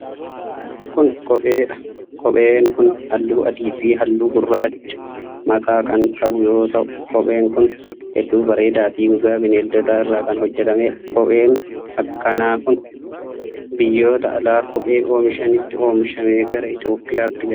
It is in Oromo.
Kun, kophee dha. Kopheen kun haalluu adii fi haaluu gurraacha maqaa kan qabu yoo ta'u, kopheen kun hedduu bareedaa fi gogaa bineeldotaa irraa kan hojjatamee dha. Kopheen akka knaa kun, biyyoota alaa kophee oomishanitti oomishame gara Itoophiyaatti gala.